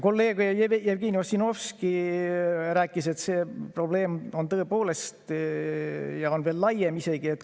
Kolleeg Jevgeni Ossinovski ütles, et see probleem on tõepoolest ja on veel laiem.